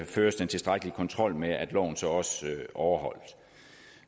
føres den tilstrækkelige kontrol med at loven så også overholdes